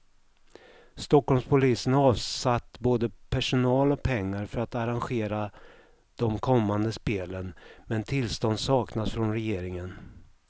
Stockholmspolisen har avsatt både personal och pengar för att arrangera de kommande spelen, men tillstånd saknas från regeringen.